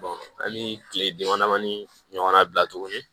hali kile dama damani ɲɔgɔnna bila tuguni